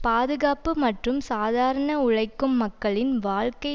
பாதுகாப்பு மற்றும் சாதாரண உழைக்கும் மக்களின் வாழ்க்கை